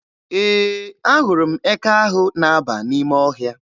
Ee, ahụrụ m eke ahụ na-aba n'ime ọhịa.